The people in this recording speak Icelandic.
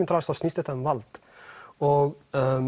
til alls snýst þetta um vald og